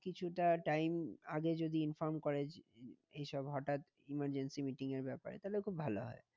কিছুটা time আগে যদি inform করে এই সব হঠাৎ emergency meeting এর ব্যাপারে তাহলে খুব ভালো হয়।